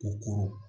O koron